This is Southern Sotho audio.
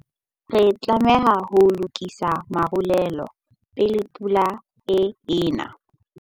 Re tlameha ho lokisa marulelo pele pula e ena.